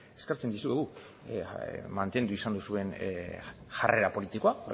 eskertzen dizuegu mantendu izan duzuen jarrera politikoa